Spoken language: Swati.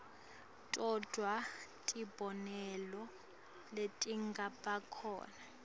todvwa tibonelo letingabakhona